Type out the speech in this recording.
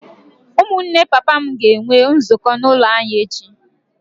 Ụmụnne papa m ga-enwe nzukọ n’ụlọ anyị echi.